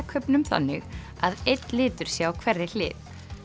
kubbnum þannig að einn litur sé á hverri hlið